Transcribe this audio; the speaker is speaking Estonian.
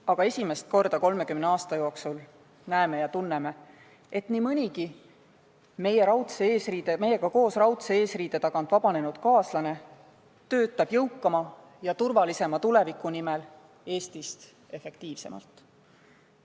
Aga esimest korda 30 aasta jooksul näeme ja tunneme, et nii mõnigi meiega koos raudse eesriide tagant vabanenud kaaslane töötab jõukama ja turvalisema tuleviku nimel Eestist efektiivsemalt.